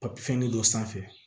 Papiye fɛn nin dɔ sanfɛ